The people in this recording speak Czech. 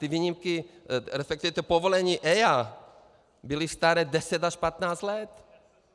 Ty výjimky, respektive ta povolení EIA byla stará 10 až 15 let.